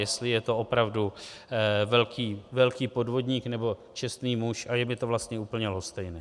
Jestli je to opravdu velký podvodník, nebo čestný muž, a je mi to vlastně úplně lhostejné.